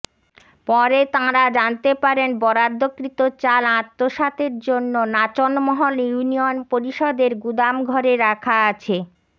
পরে তাঁরা জানতে পারেন বরাদ্দকৃত চাল আত্মসাতের জন্য নাচনমহল ইউনিয়ন পরিষদের গুদামঘরে রাখা আছে